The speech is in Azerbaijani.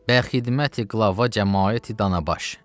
Bə xidməti qəlavə cəmaəti Danabaş.